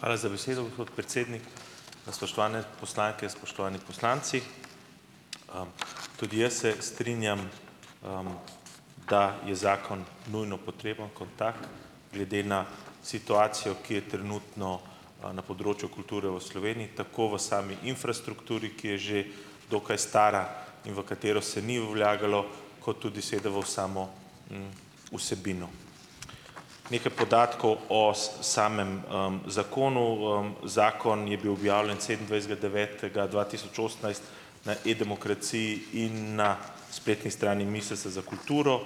Hvala za besedo, gospod predsednik. Spoštovane poslanke, spoštovani poslanci! Tudi jaz se strinjam, da je zakon nujno potreben kot tak, glede na situacijo, ki je trenutno na področju kulture v Sloveniji, tako v sami infrastrukturi, ki je že dokaj stara in v katero se ni vlagalo, kot tudi seveda v v samo vsebino. Nekaj podatkov o samem zakonu. Zakon je bil objavljen sedemindvajsetega devetega dva tisoč osemnajst na E-demokraciji in na spletni strani Ministrstva za kulturo.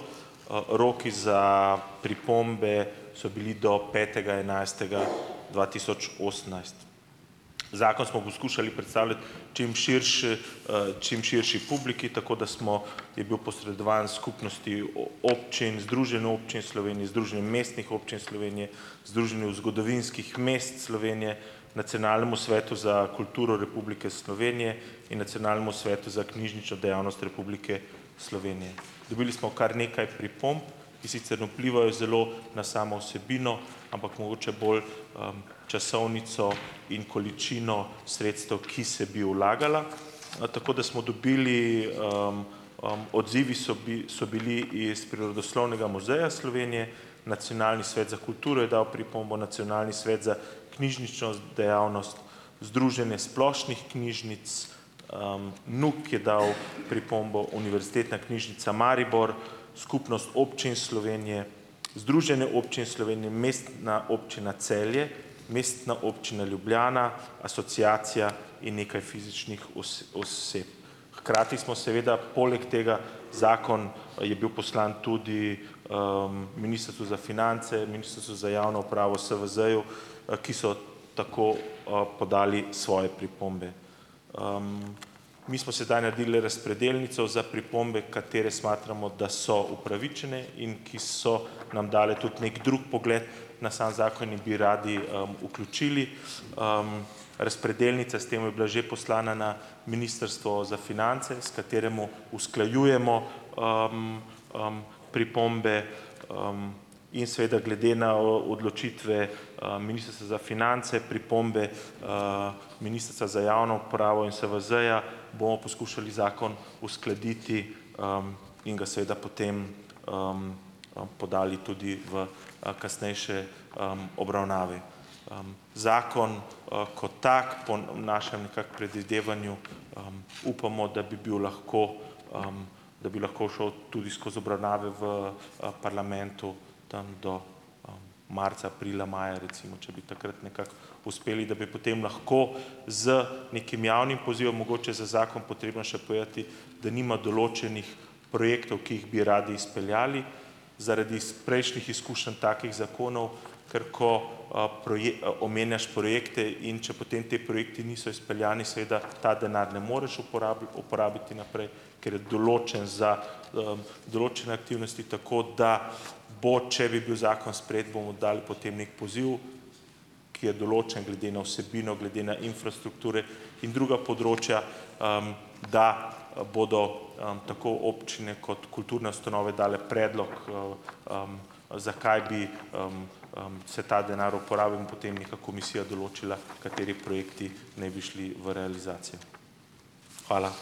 Roki za pripombe so bili do petega enajstega dva tisoč osemnajst. Zakon smo poskušali predstavljati čim čim širši publiki, tako da smo je bil posredovan Skupnosti občin, Združenju občin Slovenije, Združenju mestnih občin Slovenije, Združenju zgodovinskih mest Slovenije, Nacionalnemu svetu za kulturo Republike Slovenije in Nacionalnemu svetu za knjižnično dejavnost Republike Slovenije. Dobili smo kar nekaj pripomb, ki sicer ne vplivajo zelo na samo vsebino, ampak mogoče bolj časovnico in količino sredstev, ki se bi vlagala. Tako da smo dobili ... Odzivi so so bili iz Prirodoslovnega muzeja Slovenije, Nacionalni svet za kulturo je dal pripombo, Nacionalni svet za knjižnično dejavnost, Združenje splošnih knjižnic, Nuk je dal pripombo, Univerzitetna knjižnica Maribor, Skupnost občin Slovenije, Združenje občin Slovenije, Mestna občina Celje, Mestna občina Ljubljana, Asociacija in nekaj fizičnih oseb. Hkrati smo seveda poleg tega, zakon je bil poslan tudi Ministrstvu za finance, Ministrstvu za javno upravo, SVZ-ju, ki so tako podali svoje pripombe. Mi smo sedaj naredili le razpredelnico za pripombe, katere smatramo, da so upravičene, in ki so nam dali tudi neki drug pogled na sam zakon in bi radi vključili. Razpredelnice, s tem je bila že poslana na Ministrstvo za finance, s katerim usklajujemo pripombe, in seveda glede na odločitve Ministrstva za finance, pripombe Ministrstva za javno upravo in SVZ-ja, bomo poskušali zakon uskladiti in ga seveda potem podali tudi v kasnejše obravnave. Zakon kot tak, po našem nekako predvidevanju, upamo, da bi bil lahko, da bi lahko šel tudi skozi obravnave v parlamentu, tam do marca, aprila, maja recimo, če bi takrat nekako uspeli, da bi potem lahko z nekim javnim pozivom, mogoče je za zakon potrebno še povedati, da nima določenih projektov, ki jih bi radi izpeljali - zaradi prejšnjih izkušenj takih zakonov, ker ko omenjaš projekte in če potem ti projekti niso izpeljani, seveda ta denar ne moreš uporabiti uporabiti naprej, ker je določen za določene aktivnosti, tako da bo, če bi bil zakon sprejet, bomo dali potem neki poziv, ki je določen glede na vsebino, glede na infrastrukture in druga področja, da bodo tako občine kot kulturne ustanove dale predlog zakaj bi se ta denar uporabil in potem neka komisija določila, kateri projekti ne bi šli v realizacijo. Hvala.